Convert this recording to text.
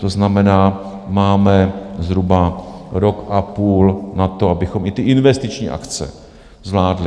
To znamená, máme zhruba rok a půl na to, abychom i ty investiční akce zvládli.